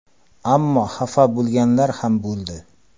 Ammo xafa bo‘lganlar ham bo‘ldi.